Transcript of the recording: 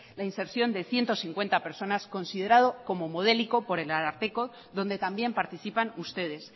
la inserción de ciento cincuenta personas considerado como modélico por el ararteko donde también participan ustedes